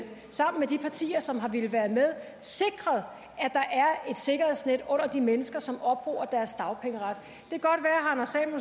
sammen med de partier som har villet være med sikret at et sikkerhedsnet under de mennesker som opbruger deres dagpengeret